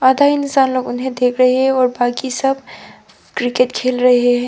आधा इंसान लोग उन्हे देख रहे हैं बाकी सब क्रिकेट खेल रहे हैं।